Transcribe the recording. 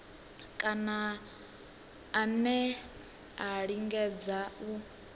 kana ane a lingedza u